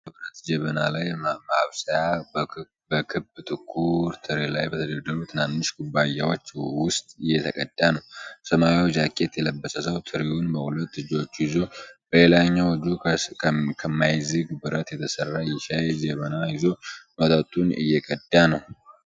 ጥቁር ቡና በብረት ጄበና ሻይ ማብሰያ በክብ ጥቁር ትሪ ላይ በተደረደሩ ትናንሽ ኩባያዎች ውስጥ እየቀዳ ነው። ሰማያዊ ጃኬት የለበሰ ሰው ትሪውን በሁለት እጆቹ ይዞ፣ በሌላኛው እጁ ከማይዝግ ብረት የተሰራ የሻይ ጄበና ይዞ መጠጡን እየቀዳ ነው።